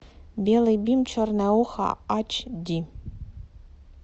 белый бим черное ухо эйч ди